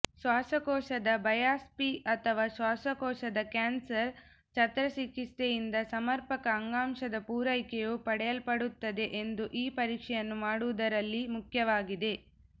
ಶ್ವಾಸಕೋಶದ ಬಯಾಪ್ಸಿ ಅಥವಾ ಶ್ವಾಸಕೋಶದ ಕ್ಯಾನ್ಸರ್ ಶಸ್ತ್ರಚಿಕಿತ್ಸೆಯಿಂದ ಸಮರ್ಪಕ ಅಂಗಾಂಶದ ಪೂರೈಕೆಯು ಪಡೆಯಲ್ಪಡುತ್ತದೆ ಎಂದು ಈ ಪರೀಕ್ಷೆಯನ್ನು ಮಾಡುವುದರಲ್ಲಿ ಮುಖ್ಯವಾಗಿದೆ